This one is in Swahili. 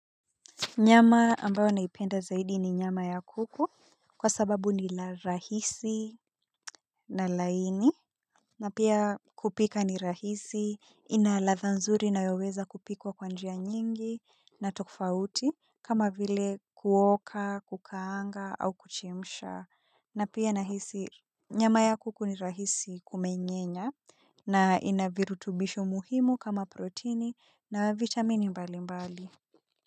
Nyama ambayo naipenda zaidi ni nyama ya kuku kwa sababu ni la rahisi na laini na pia kupika ni rahisi ina ladha nzuri inayoweza kupikwa kwa njia nyingi na tokfauti kama vile kuoka kukaanga au kuchimisha na pia nahisi nyama ya kuku ni rahisi kumenyenya na inavirutubisho muhimu kama protini na vitamini mbali mbali.